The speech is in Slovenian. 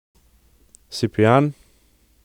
Si pijan?